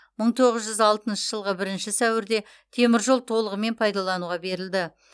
мың тоғыз жүз алтыншы жылғы бірінші сәуірде теміржол толығымен пайдалануға берілді